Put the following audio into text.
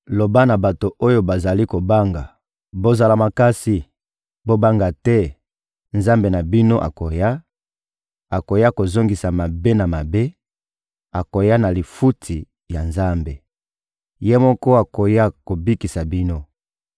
Loba na bato oyo bazali kobanga: «Bozala makasi, bobanga te, Nzambe na bino akoya, akoya kozongisa mabe na mabe, akoya na lifuti ya Nzambe. Ye moko akoya kobikisa bino.»